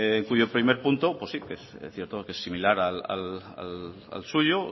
cuyo primer punto pues sí es cierto que es similar al suyo